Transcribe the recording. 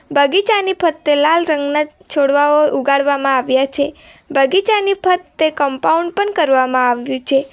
બગીચાની ફરતે લાલ રંગના છોડવાઓ ઉગાડવામાં આવ્યા છે બગીચાની ફરતે કમ્પાઉન્ડ પણ કરવામાં આવ્યું છે.